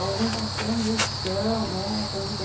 Alguns dizem combustão, é combustão.